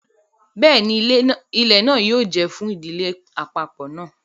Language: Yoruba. Bẹẹni, ilẹ náà yóò jẹ fún ìdílé apapọ náà